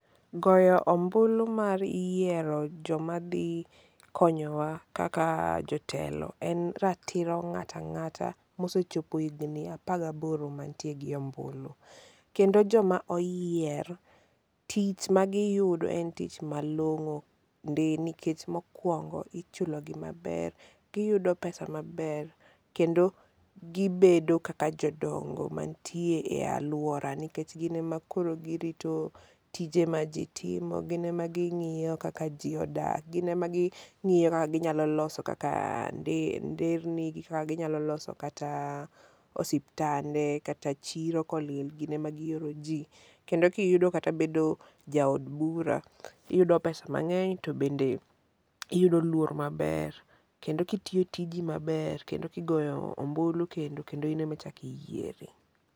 Goyo ombulu mar yiero joma dhi konyowa kaka jotelo en ratiro ng'ato ang'ata mosechopo higni apar gaboro manitie gombulu. Kendo joma oyier, tich magiyudo en tich malong'o ndi nikech mokwongo ichulogi maber, giyudo pesa maber kendo gibedo kaka jodongo manitie e alwora nikech gin ema koro girito tije ma jitimo, gin ema ging'iyo kaka ji odak, gin ema ging'iyo kaka ginyalo loso nderni, kaka ginyalo loso osiptande kata chiro kolil gin ema gioro ji, kendo kiyudo kata bedo jaod bura, iyudo pesa mang'eny to bende iyudo luor maber, kendo kitiyo tiji maber, kendo kigoyo ombulu kendo, kendo in ema ichako yieri.